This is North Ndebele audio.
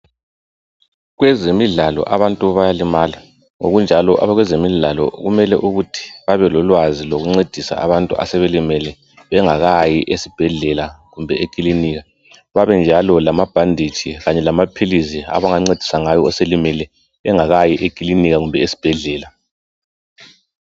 Kwezemidlalo abantu bayalimala. Ngokunjalo abakwezemidlalo kumele ukuthi babe lolwazi lokuncedise abantu asebelimele bengakayi esibhedlela kumbe ekilinika. Babenjalo lamabhanditshi kanye lamaphilizi abangancedisa ngawo oselimele engakayi ekilinika kumbe esibhedlela.